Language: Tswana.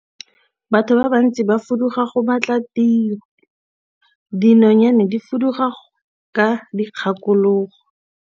Batho ba bantsi ba fuduga go batla tiro, dinonyane di fuduga ka dikgakologo.